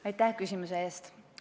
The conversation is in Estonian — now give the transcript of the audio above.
Aitäh küsimuse eest!